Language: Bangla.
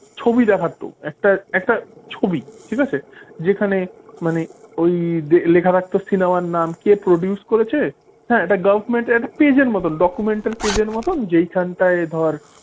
ছবি দেখা তো একটা একটা ছবি ঠিক আছে? যেখানে মানে ওই লেখা থাকতো cinema র নাম কে? produce করেছে হ্যাঁ পেজের মত documental page র মতন যেখানটা ধর,